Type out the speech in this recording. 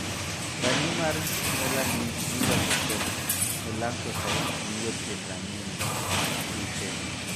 Rangi mar 'melanin' miloso kod 'melanocytes' miyo pien rangine (kite).